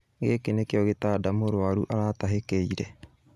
Gĩkĩ nĩkĩo gĩtanda mũrwaru aratahĩkĩire